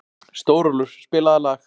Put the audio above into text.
Stórólfur, spilaðu lag.